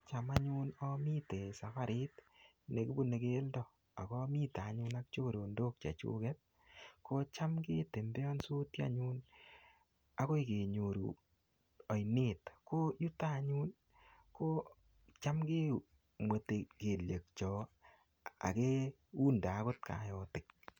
Cham anyun amitei safarit nekibune keldo, akamite anyun ak chorondok chechuket, kocham ketembeansoti anyun akoi kenyoru ainet. Ko yutok anyun, kocham kemwetei kelyek chok, akeunde agot kaotik.